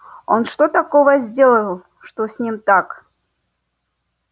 он что такого сделал чтобы с ним так